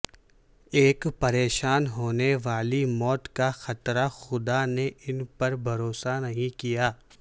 ایک پریشان ہونے والی موت کا خطرہ خدا نے ان پر بھروسہ نہیں کیا